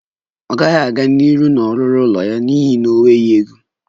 Ọ gaghị aga n'ihu na-ọrụrụ ụlọ ya n'ihi enweghị ego